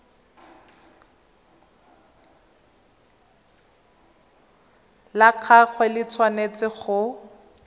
la gagwe le tshwanetse go